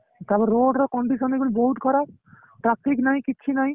ତାପରେ road ର condition ଏଇଖିଣା ବହୁତ ଖରାପ traffic ନାଇଁ କିଛି ନାଇଁ